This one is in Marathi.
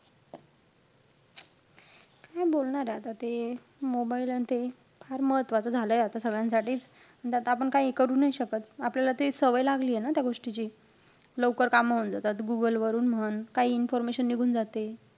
काय बोलणारे आता ते mobile अन ते फार महत्वाचं झालंय आता सगळ्यांसाठीच. त त्यात आपण आता काही करू नाई शकत. आपल्याला ते सवय लागलीय न त्या गोष्टीची. लवकर कामं होऊन जातात. Google वरून म्हण, काई information निघून जाते.